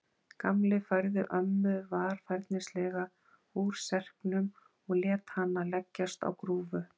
Gamli færði ömmu varfærnislega úr serknum og lét hana leggjast á grúfu.